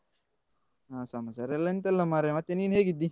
ಹ ಸಮಾಚಾರೆಲ್ಲಾ ಎಂತ ಇಲ್ಲ ಮಾರಾಯ ಮತ್ತೆ ನೀನ್ ಹೇಗಿದ್ದಿ?